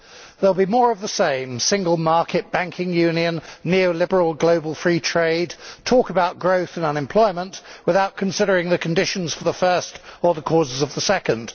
There will be more of the same single market, banking union, neo liberal global free trade, talk about growth and unemployment without considering the conditions for the first or the causes of the second.